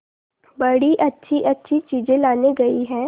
बड़ी अच्छीअच्छी चीजें लाने गई है